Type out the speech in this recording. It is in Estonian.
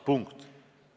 Punkt.